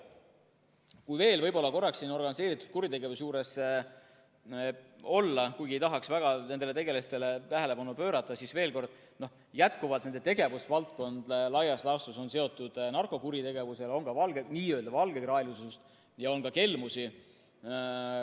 Kui veel võib-olla organiseeritud kuritegevuse juures olla, kuigi ei tahaks väga nendele tegelastele tähelepanu pöörata, siis jätkuvalt on nende tegevusvaldkond laias laastus seotud narkokuritegevusega, on ka n‑ö valgekraelisust ja on ka kelmusi.